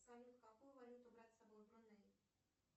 салют какую валюту брать с собой в бруней